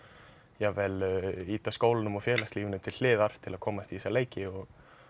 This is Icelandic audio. jafnvel ýta skólanum og félagslífinu til hliðar til að komast í þessa leiki og